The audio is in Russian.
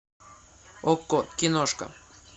окко киношка